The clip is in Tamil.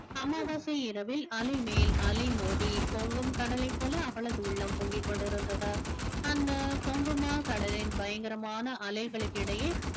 அமாவாசை இரவில் அலைமேல் அலை மோதி பொங்கும் கடலை போல அவளது உள்ளம் பொங்கிக் கொண்டிருந்தது அந்த கடலின் பயங்கரமான அலைகளுக்கிடையே